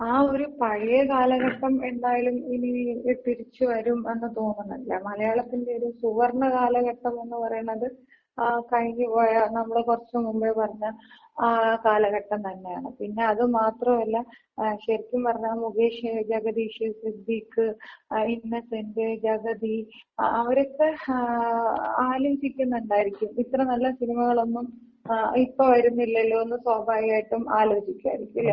ആ ഒര് പഴയ കാലഘട്ടം എന്തായാലും ഇനി തിരിച്ച് വരും എന്ന് തോന്നുന്നില്ല. മലയാളത്തിന്‍റ ഒര് സുവർണ കാലഘട്ടംന്ന് പറയണത് ആ കഴിഞ്ഞ്പോയ നമ്മള് കുറച്ച് മുൻപ് പറഞ്ഞ ആ കാലഘട്ടം തന്നെയാണ്. പിന്നെ അത് മാത്രവുവല്ല ശരിക്കും പറഞ്ഞാ മുകേഷ്, ജഗതീഷ്, സിദ്ധിക്ക്, ഇന്നസെന്‍റ്, ജഗതി ആ അവരൊക്കെ ങ്ങാ ആലോചിക്കുന്നുണ്ടായിരിക്കും ഇത്ര നല്ല സിനിമകളൊന്നും ഇപ്പൊ വരുന്നില്ലല്ലോ എന്ന് സ്വാഭാവികമായിട്ടും ആലോചിക്കുവായിരിക്കും അല്ലെ?